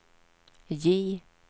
J